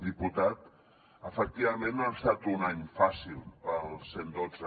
diputat efectivament no ha estat un any fàcil per al cent i dotze